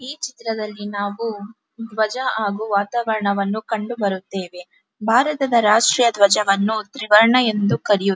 ಈ ಚಿತ್ರದಲ್ಲಿ ನಾವು ದ್ವಜ ಹಾಗು ವಾತಾವರಣವನ್ನು ಕಂಡುಬರುತ್ತೆವೆ ಭಾರತೀಯ ರಾಷ್ಟ್ರೀಯ ದ್ವಜವನ್ನು ತ್ರಿವರ್ಣ ಎಂದು ಕರೆಯುತ್ತಾರೆ .